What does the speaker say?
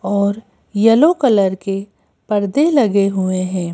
और yellow colour के परदे लगे हुए हैं।